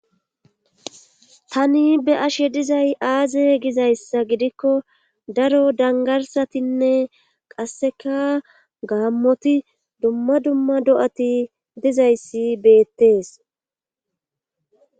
Tani be ashe dizay aaze gizayssa gidikko daro dangarsatinne qasseka gaammoti dumma dumma do7ati dizayssi beettees.